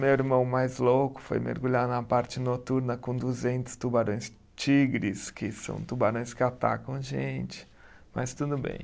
Meu irmão mais louco foi mergulhar na parte noturna com duzentos tubarões tigres, que são tubarões que atacam a gente, mas tudo bem.